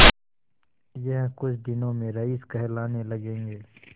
यह कुछ दिनों में रईस कहलाने लगेंगे